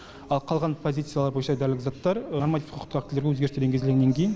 ал қалған позициялар бойынша дәрілік заттар нормативтік құқықтық актілерге өзгерістер енгізілгеннен кейін